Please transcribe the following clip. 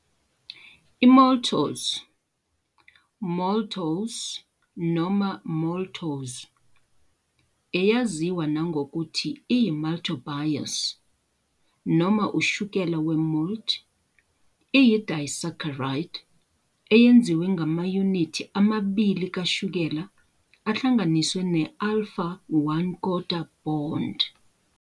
I-Maltose, maltose noma maltose, eyaziwa nangokuthi i-maltobiose noma ushukela we-malt, iyi-disaccharide eyenziwe ngamayunithi amabili kashukela ahlanganiswe ne-alpha, 1 kodwa 4, bond.